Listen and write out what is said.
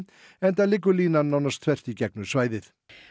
enda liggur línan núna þvert í gegnum svæðið